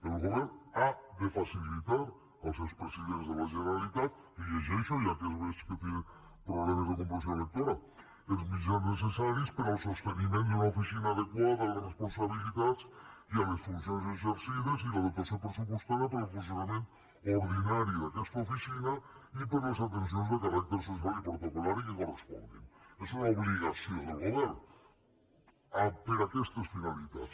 el govern hasidents de la generalitat li ho llegeixo ja que veig que té problemes de comprensió lectora els mitjans necessaris per al sosteniment d’una oficina adequada a les responsabilitats i a les funcions exercides i la dotació pressupostària per al funcionament ordinari d’aquesta oficina i per a les atencions de caràcter social i protocoldel govern per a aquestes finalitats